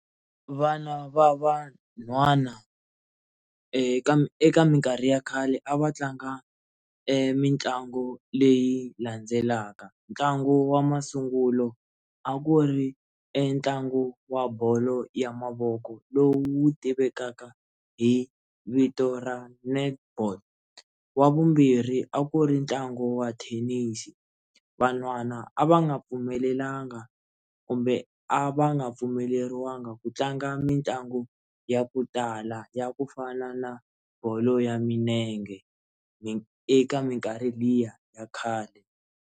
Vana va van'hwana eka eka minkarhi ya khale a va tlanga mitlangu leyi landzelaka, ntlangu wa masungulo a ku ri entlangu wa bolo ya mavoko lowu tivekaka hi vito ra netball wa vumbirhi a ku ri ntlangu wa thenisi van'hwana a va nga pfumelelanga kumbe a va nga pfumeleriwangi ku tlanga mitlangu ya ku tala ya ku fana na bolo ya milenge ni eka minkarhi liya ya khale.